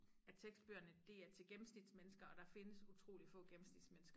At tekstbøgerne de er til gennemsnitsmennesker og der findes utroligt få gennemsnitsmennesker